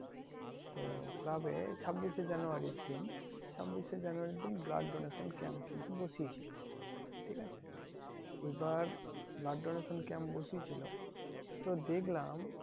তো club এ ছাব্বিশ এ জানুয়ারীর দিন ছাব্বিশ এ জানুয়ারীর দিন blood donation camp কিন্তু বসিয়ে ছিল ঠিক আছে এইবার blood donation camp বসিয়েছিলো তো দেখলাম